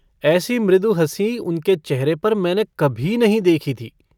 ऐसी मृदु हँसी उनके चेहरे पर मैंने कभी नहीं देखी थी।